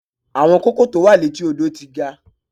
Àwọn kóókò tó wà létí odò ti ga.